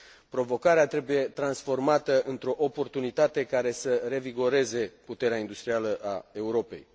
Provocarea trebuie transformată într o oportunitate care să revigoreze puterea industrială a Europei.